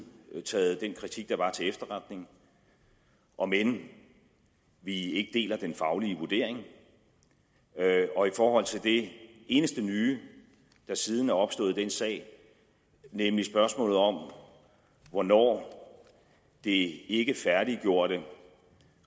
taget den kritik der var til efterretning om end vi ikke deler den faglige vurdering og i forhold til det eneste nye der siden er opstået i den sag nemlig spørgsmålet om hvornår det ikke færdiggjorte